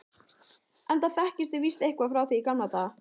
enda þekkist þið víst eitthvað frá því í gamla daga.